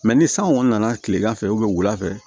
Mɛ ni san kɔni nana tilegan fɛ wulafɛ